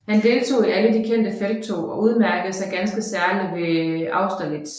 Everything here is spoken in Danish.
Han deltog i alle de kendte felttog og udmærkede sig ganske særlig ved Austerlitz